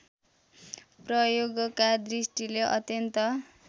प्रयोगका दृष्टिले अत्यन्त